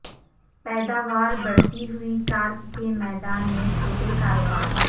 پیداوار بڑھتی ہوئی کارپ کے میدان میں چھوٹے کاروبار